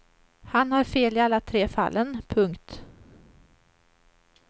Han har fel i alla tre fallen. punkt